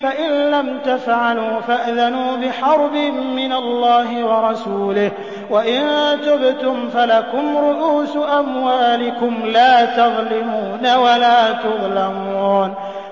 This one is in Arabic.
فَإِن لَّمْ تَفْعَلُوا فَأْذَنُوا بِحَرْبٍ مِّنَ اللَّهِ وَرَسُولِهِ ۖ وَإِن تُبْتُمْ فَلَكُمْ رُءُوسُ أَمْوَالِكُمْ لَا تَظْلِمُونَ وَلَا تُظْلَمُونَ